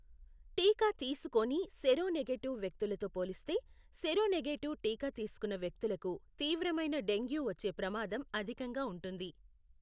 టీకా తీసుకోని సెరోనెగేటివ్ వ్యక్తులతో పోలిస్తే సెరోనెగేటివ్ టీకా తీసుకున్న వ్యక్తులకు తీవ్రమైన డెంగ్యూ వచ్చే ప్రమాదం అధికంగా ఉంటుంది.